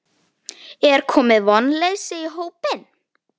Er komið vonleysi í hópinn?